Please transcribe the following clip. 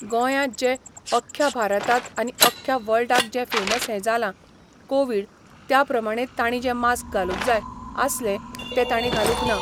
गोंयांत जें, अख्ख्या भारतांत आनी अख्ख्या वर्ल्डाक जें फेमस हें जालां, कोवीड त्या प्रमाणे ताणी जें मास्क घालूंक जाय आसलें तें ताणी घालूंक ना.